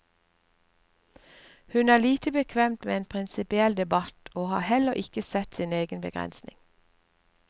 Hun er lite bekvem med en prinsipiell debatt og har heller ikke sett sin egen begrensning.